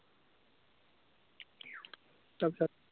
তাত